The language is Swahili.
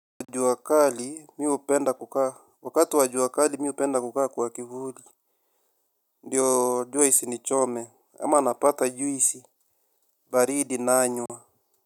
Wa jua kali mi hupenda kukaa kwa kivuli. Ndiyo jua isinichome ama napata juisi baridi nanywa.